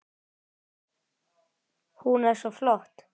Hún er svo flott!